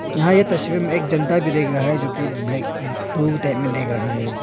यहां ये तस्वीर में एक जनता भी देख रहा है जोकि ब्लैक ब्लू टाइप में देख रहा है।